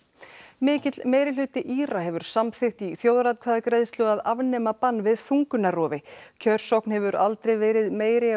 mikill meirihluti Íra hefur samþykkt í þjóðaratkvæðagreiðslu að afnema bann við þungunarrofi kjörsókn hefur aldrei verið meiri